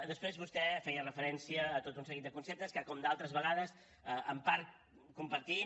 després vostè feia referència a tot un seguit de conceptes que com d’altres vegades en part compartim